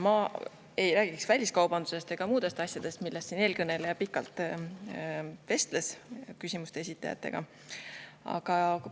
Ma ei räägi väliskaubandusest ega muudest asjadest, millest siin eelkõneleja küsimuste esitajatega pikalt vestles.